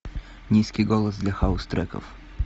низкий голос для хаус треков